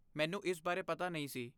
ਮੈਨੂੰ ਇਸ ਬਾਰੇ ਪਤਾ ਨਹੀਂ ਸੀ।